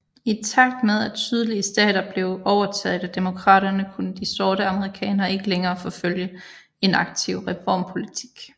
I takt med at sydlige stater blev overtaget af Demokraterne kunne de sorte amerikanere ikke længere forfølge en aktiv reformpolitik